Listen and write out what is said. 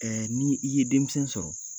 Ɛ ni i ye denmisɛnw sɔrɔ